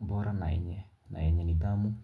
bora na yenye na yenye nidhamu.